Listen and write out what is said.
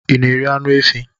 ị na-eri anụ efi